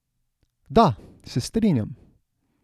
Da, se strinjam.